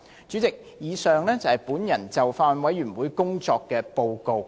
主席，以上是我就法案委員會工作的報告。